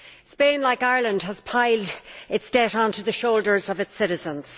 Spain, like Ireland, has piled its debt onto the shoulders of its citizens.